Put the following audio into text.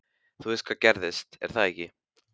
Þú veist hvað gerðist, er það ekki?